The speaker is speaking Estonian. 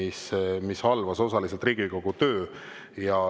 See halvas osaliselt Riigikogu töö.